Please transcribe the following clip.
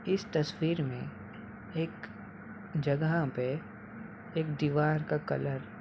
इस तस्वीर मे एक जगह पे एक दिवार का कलर --